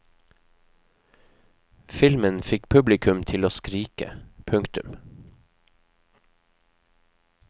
Filmen fikk publikum til å skrike. punktum